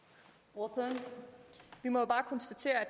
hvor det